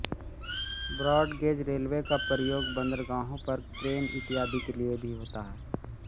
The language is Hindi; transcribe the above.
ब्रॉड गेज रेलवे का प्रयोग बंदरगाहों पर क्रेन इत्यादि के लिए भी होता है